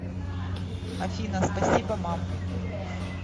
афина спасибо мам